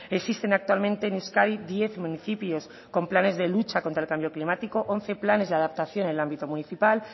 existen actualmente en euskadi diez municipios con planes de lucha contra el cambio climático once planes de adaptación en el ámbito municipal